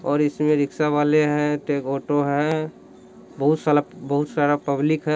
और इसमें रिक्शा वाले हैं ऑटो है बहुत सारा बहुत सारा पब्लिक है--